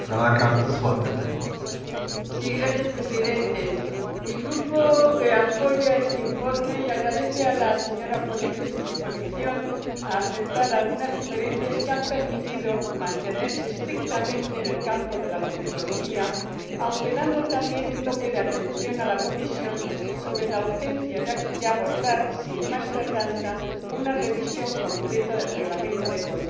Señor Presidente, mi Grupo apoya este informe y agradece a la ponente su disposición a aceptar algunas sugerencias que han permitido mantenerse estrictamente en el campo de la comitología, aunque dando también un toque de atención a la Comisión sobre la urgencia de abordar, sin más tardanza, una revisión completa del Reglamento de control,